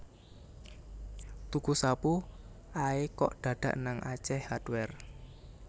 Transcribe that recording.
Tuku sapu ae kok dadak nang Ace Hardware